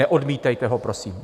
Neodmítejte ho, prosím.